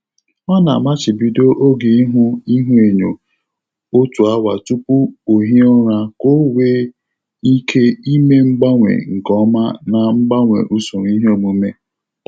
Ọ na-amachibido oge ihụ ihuenyo otu awa tupu ohie ụra ka ọ nwee ike ime mgbanwe nke ọma na mgbanwe usoro iheomume.